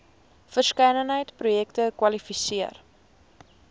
verskeidenheid projekte kwalifiseer